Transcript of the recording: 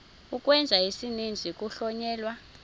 ukwenza isininzi kuhlonyelwa